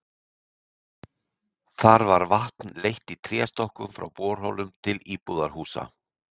Þar var vatn leitt í tréstokkum frá borholum til íbúðarhúsa.